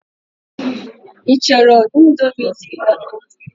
Ị chọrọ Indomi dị ọkụ?